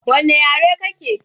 Wanna yare kake?